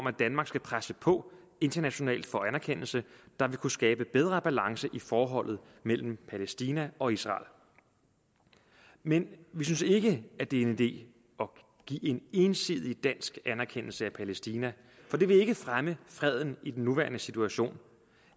at danmark skal presse på internationalt for en anerkendelse der vil kunne skabe bedre balance i forholdet mellem palæstina og israel men vi synes ikke at det er en idé at give en ensidig dansk anerkendelse af palæstina for det vil ikke fremme freden i den nuværende situation